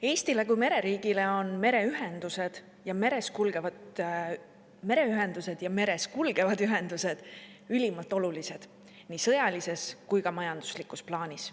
Eestile kui mereriigile on meres kulgevad ühendusliinid ülimalt olulised nii sõjalises kui ka majanduslikus plaanis.